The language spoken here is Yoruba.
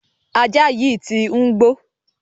Ajá yìí tí ń gbó.